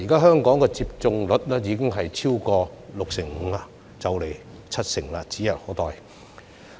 香港現時的接種率已經超過六成五，七成接種率指日可待。